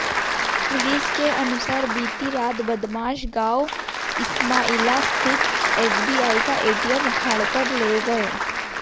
police के अनुसार बीती रात बदमाश गांव इस्माइला स्थित एसबीआई का एटीएम उखाड़कर ले गए